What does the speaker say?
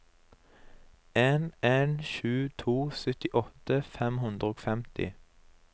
en en sju to syttiåtte fem hundre og femti